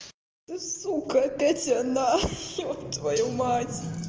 это сука опять она ёб твою мать